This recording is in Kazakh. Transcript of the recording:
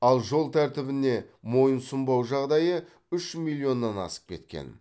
ал жол тәртібіне мойынсұнбау жағдайы үш миллионнан асып кеткен